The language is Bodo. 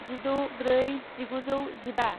जिद' ब्रै जिगुजौ जिबा